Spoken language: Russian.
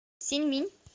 синьминь